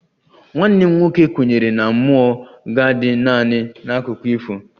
Nwanne m nwoke kwenyere na mmụọ ga-adị naanị n'akụkọ ifo